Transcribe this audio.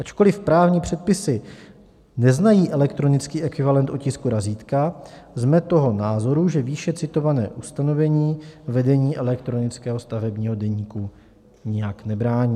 Ačkoliv právní předpisy neznají elektronický ekvivalent otisku razítka, jsme toho názoru, že výše citované ustanovení vedení elektronického stavebního deníku nijak nebrání.